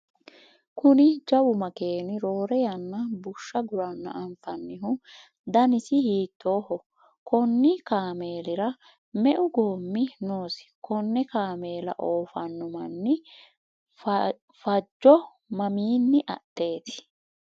kuni jawu makeeni roore yanna bushsha guranna anfannihu danasi hiittooho? konni kaameelira meu goommi noosi? konne kaameela oofanno manni fajjo mamiinni adheeti?